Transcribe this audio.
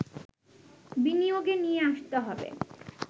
বিনিয়োগে নিয়ে আসতে হবে